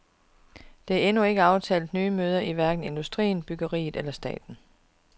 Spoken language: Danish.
Der er endnu ikke aftalt nye møder i hverken industrien, byggeriet eller staten.